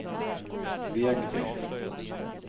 Vegby